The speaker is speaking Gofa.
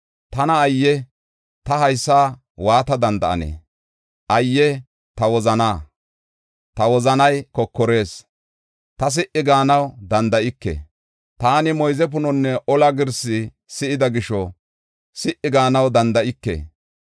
Tana ayye! Ta haysa waata danda7ane! Ayye ta wozanaa! Ta wozanay kokorees; ta si77i gaanaw danda7ike. Taani moyze punonne ola girsi si7ida gisho si77i gaanaw danda7ike.